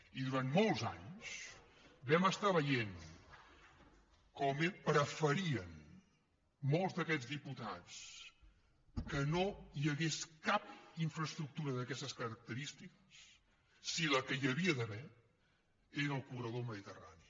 i durant molts anys vam estar veient com preferien molts d’aquest diputats que no hi hagués cap infraestructura d’aquestes característiques si la que hi havia d’haver era el corredor mediterrani